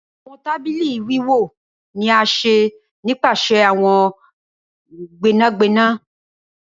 Awọn tabili wiwọ ni a ṣe nipasẹ awọn gbẹnagbẹna.